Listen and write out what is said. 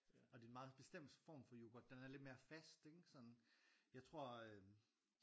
Og det er en meget bestemt form for yoghurt den er lidt mere fast ikke sådan jeg tror øh